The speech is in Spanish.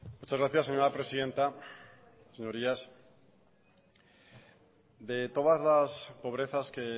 muchas gracias señora presidenta señorías de todas las pobrezas que